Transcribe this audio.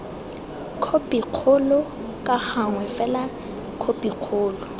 khopikgolo ka gangwe fela khopikgolo